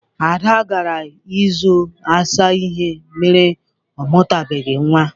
Ada gara ịjụ ase ihe mere ọ mụtabeghi nwa.